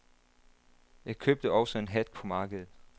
Jeg købte også en hat på markedet.